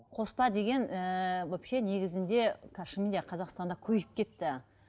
қоспа деген ііі вообще негізінде қазір шынымен де қазақстанда көбейіп кетті